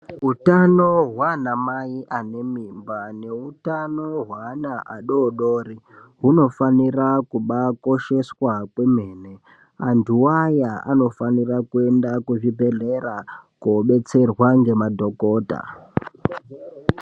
Utano hwana mai anemimba neutano hweana adodori hunofanira kubakosheswa kwemene. Antu aya anofanira kuenda kuzvibhedhlera kobetserwa ngemadhogodha.